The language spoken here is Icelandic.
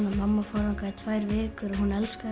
mamma fórum þangað í tvær vikur og hún elskaði